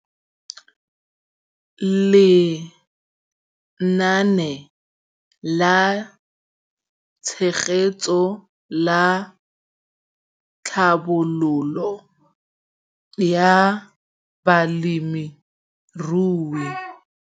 Lenaane la Tshegetso le Tlhabololo ya Balemirui